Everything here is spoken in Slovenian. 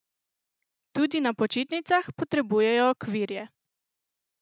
Tudi na počitnicah potrebujejo okvirje!